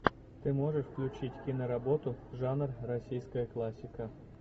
ты можешь включить киноработу жанр российская классика